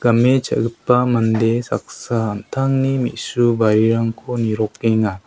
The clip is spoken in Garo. game cha·gipa mande saksa an·tangni me·su barirangko nirokenga.